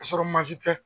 Ka sɔrɔ mansin tɛ